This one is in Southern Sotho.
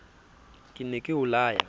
ke ne ke o laya